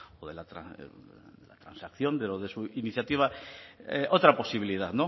o de la transacción de lo de su iniciativa otra posibilidad